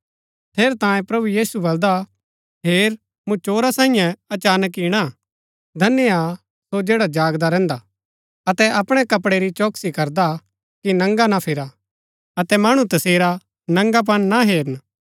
ठेरैतांये प्रभु यीशु बलदा हेर मूँ चोरा सांईये अचानक इणा धन्य हा सो जैडा जागदा रैहन्दा हा अतै अपणै कपड़ै री चौकसी करदा हा कि नंगा ना फिरा अतै मणु तसेरा नंगापन ना हेरन